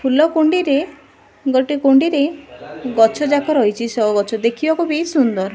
ଫୁଲକୁଣ୍ଡିରେ ଗୋଟେ କୁଣ୍ଡିରେ ଗଛ ଯାଙ୍କ ରହିଚି ସୋ ଗଛ ଦେଖିବାକୁ ବି ସୁନ୍ଦର।